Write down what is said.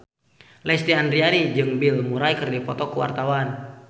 Lesti Andryani jeung Bill Murray keur dipoto ku wartawan